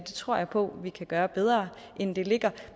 det tror jeg på vi kan gøre bedre end det ligger